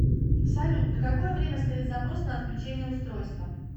салют на какое время стоит запрос на отключение устройства